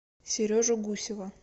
сережу гусева